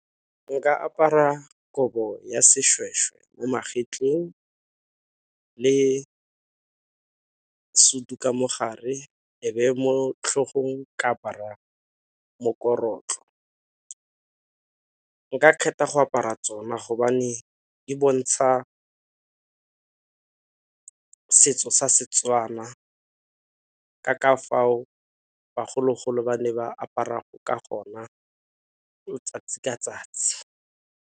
Nka apara kobo ya seshweshwe mo magetleng le sutu ka mogare e be mo tlhogong ka apara mokorotlo, nka kgetha go apara tsona gobane di bontsha setso sa Setswana ka ka fao bagologolo ba ne ba apara ka gona 'tsatsi ka 'tsatsi.